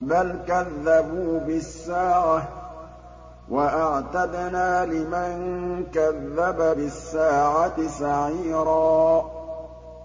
بَلْ كَذَّبُوا بِالسَّاعَةِ ۖ وَأَعْتَدْنَا لِمَن كَذَّبَ بِالسَّاعَةِ سَعِيرًا